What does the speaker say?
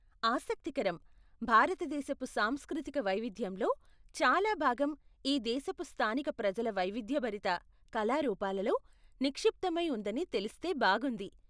ఆసక్తికరం! భారతదేశపు సాంస్కృతిక వైవిధ్యంలో చాలా భాగం ఈ దేశపు స్థానిక ప్రజల వైవిధ్యభరిత కళారూపాలలో నిక్షిప్తమై ఉందని తెలిస్తే బాగుంది.